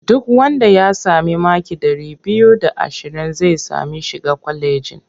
Duk wanda ya sami maki ɗari biyu da ashirin zai sami shiga kwalejin.